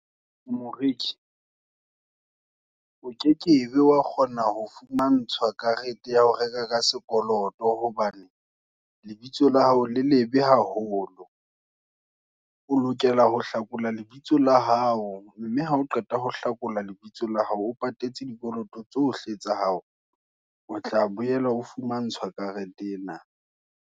Moreki, o kekebe wa kgona, ho fumantshwa karete ya ho reka ka sekoloto, hobane lebitso la hao, le lebe haholo. O lokela ho hlakola lebitso la hao, mme ha o qeta ho hlakola lebitso la hao. O patetse dikoloto tsohle tsa hao, o tla boela ho fumantshwa karete ena.